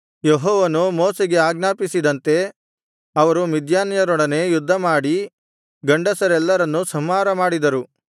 ಯೆಹೋವನು ಮೋಶೆಗೆ ಆಜ್ಞಾಪಿಸಿದಂತೆ ಅವರು ಮಿದ್ಯಾನ್ಯರೊಡನೆ ಯುದ್ಧಮಾಡಿ ಗಂಡಸರೆಲ್ಲರನ್ನೂ ಸಂಹಾರಮಾಡಿದರು